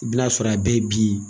I bɛn'a sɔrɔ a bɛɛ bi ye.